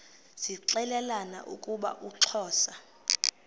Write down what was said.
zixelelana ukuba uxhosa